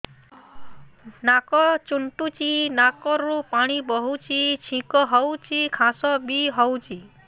ନାକ ଚୁଣ୍ଟୁଚି ନାକରୁ ପାଣି ବହୁଛି ଛିଙ୍କ ହଉଚି ଖାସ ବି ହଉଚି